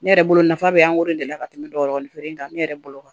Ne yɛrɛ bolo nafa be an de la ka tɛmɛ dɔ wɔɔrɔnan kan ne yɛrɛ bolo kan